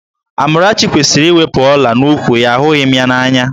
Amarachi kwesịrị iwepu ọ̀lá n'úkwù ya, ahụghị m ya n'anya